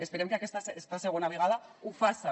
esperem que aquesta segona vegada ho faça